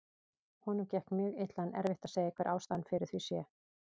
Honum gekk mjög illa en erfitt að segja hver ástæðan fyrir því sé.